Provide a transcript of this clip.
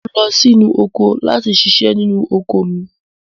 Mo ń lọ sí oko láti ṣiṣẹ́ nínú oko mi